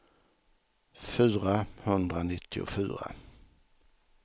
fyrahundranittiofyra